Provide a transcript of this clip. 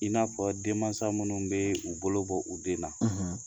I n'a fɔ denmansa minnu bɛ u bolo bɔ u den na